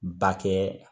Ba kɛ